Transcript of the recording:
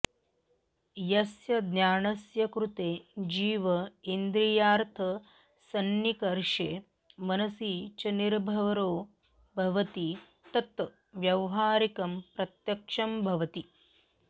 यस्य ज्ञानस्य कृते जीव इन्द्रियार्थसन्निकर्षे मनसि च निर्भरो भवति तत् व्यावहारिकं प्रत्यक्षं भवति